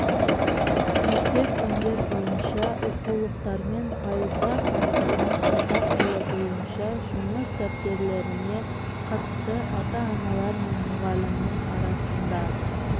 мектеп пәндер бойынша оқулықтармен пайызға қамтылған қазақ тілі бойынша жұмыс дәптерлеріне қатысты ата-аналар мен мұғалімнің арасында